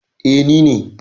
Eh, ni ne.